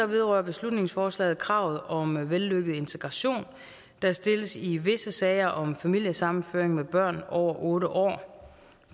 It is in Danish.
vedrører beslutningsforslaget kravet om vellykket integration der stilles i visse sager om familiesammenføring med børn over otte år